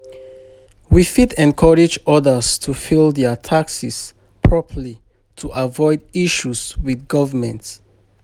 We fit encourage others to file their taxes properly to avoid issues with government.